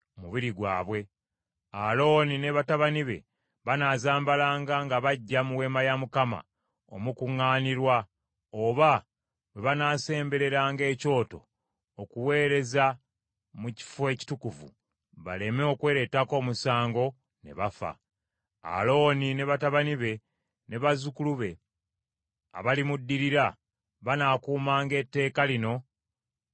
Alooni ne batabani be banaazambalanga nga bajja mu Weema ey’Okukuŋŋaanirangamu oba bwe banaasembereranga Ekyoto okuweereza mu Kifo Ekitukuvu, baleme okwereetako omusango ne bafa. “Alooni ne batabani be ne bazzukulu be abalimuddirira banaakuumanga etteeka lino nga lya nkalakkalira.”